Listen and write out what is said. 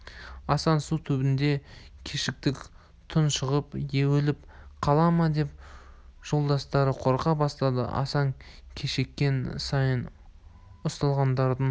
асан су түбінде кешікті тұншығып өліп қала ма деп жолдастары қорқа бастады асан кешіккен сайын ұсталғандардың